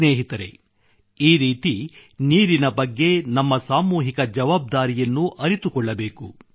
ಸ್ನೇಹಿತರೆ ಈ ರೀತಿ ನೀರಿನ ಬಗ್ಗೆ ನಮ್ಮ ಸಾಮೂಹಿಕ ಜವಾಬ್ದಾರಿಯನ್ನು ಅರಿತುಕೊಳ್ಳಬೇಕು